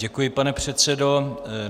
Děkuji, pane předsedo.